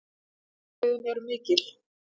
Vonbrigðin eru mikil